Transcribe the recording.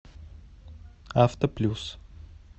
авто плюс